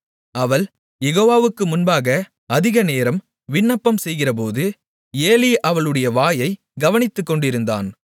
அவள் யெகோவாவுக்கு முன்பாக அதிகநேரம் விண்ணப்பம்செய்கிறபோது ஏலி அவளுடைய வாயைக் கவனித்துக்கொண்டிருந்தான்